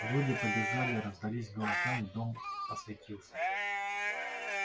люди побежали раздались голоса и дом осветился